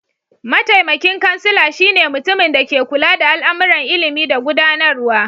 Mataimakin kansila shi ne mutuminda ke kulla da al'amuran ilimi da gudanarwa.